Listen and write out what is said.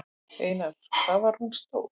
Einar: Hvað var hún stór?